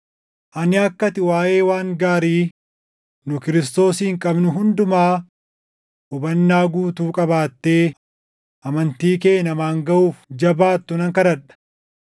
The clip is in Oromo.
Ani akka ati waaʼee waan gaarii nu Kiristoosiin qabnu hundumaa hubannaa guutuu qabaattee amantii kee namaan gaʼuuf jabaattu nan kadhadha.